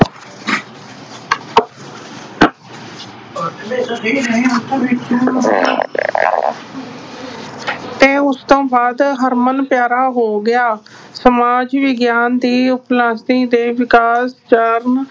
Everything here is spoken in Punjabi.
ਤੇ ਉਸਤੋਂ ਬਾਅਦ ਹਰਮਨ-ਪਿਆਰਾ ਹੋ ਗਿਆ। ਸਮਾਜ ਵਿਗਿਆਨ ਦੀ ਦੇ ਵਿਸ਼ੇਸ਼ ਕਾਰਨ